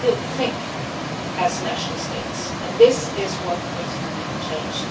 We still think as national states and this is what needs to be changed.